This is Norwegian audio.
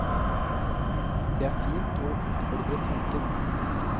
Det er fint å utfordre tanken.